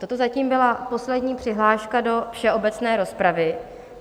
Toto zatím byla poslední přihláška do všeobecné rozpravy.